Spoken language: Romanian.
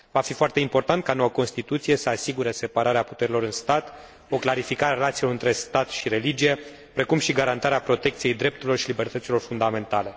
Va fi foarte important ca noua constituție să asigure separarea puterilor în stat, cu clarificarea relațiilor între stat și religie, precum și garantarea protecției drepturilor și libertăților fundamentale.